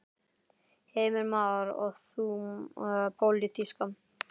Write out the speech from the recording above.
Heimir Már: Og þá pólitíska?